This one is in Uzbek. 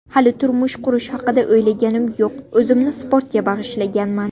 Hali turmush qurish haqida o‘ylaganim yo‘q, o‘zimni sportga bag‘ishlaganman.